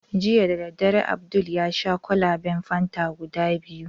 Jiya dadare, Abdul yasha kwalaben fanta guda biyu.